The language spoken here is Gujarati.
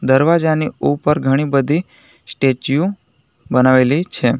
દરવાજાને ઉપર ઘણી બધી સ્ટેચ્યુ બનાવેલી છે.